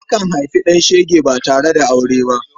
Akan haifi ɗan shege ba tare da aure ba.